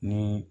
Ni